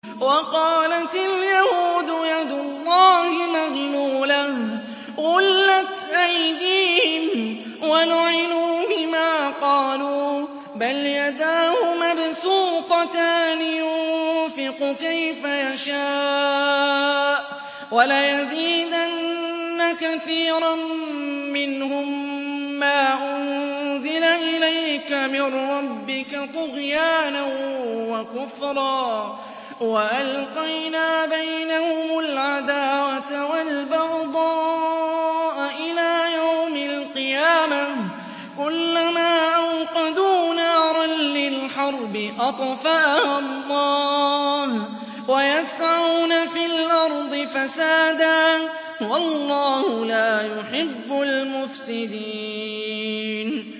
وَقَالَتِ الْيَهُودُ يَدُ اللَّهِ مَغْلُولَةٌ ۚ غُلَّتْ أَيْدِيهِمْ وَلُعِنُوا بِمَا قَالُوا ۘ بَلْ يَدَاهُ مَبْسُوطَتَانِ يُنفِقُ كَيْفَ يَشَاءُ ۚ وَلَيَزِيدَنَّ كَثِيرًا مِّنْهُم مَّا أُنزِلَ إِلَيْكَ مِن رَّبِّكَ طُغْيَانًا وَكُفْرًا ۚ وَأَلْقَيْنَا بَيْنَهُمُ الْعَدَاوَةَ وَالْبَغْضَاءَ إِلَىٰ يَوْمِ الْقِيَامَةِ ۚ كُلَّمَا أَوْقَدُوا نَارًا لِّلْحَرْبِ أَطْفَأَهَا اللَّهُ ۚ وَيَسْعَوْنَ فِي الْأَرْضِ فَسَادًا ۚ وَاللَّهُ لَا يُحِبُّ الْمُفْسِدِينَ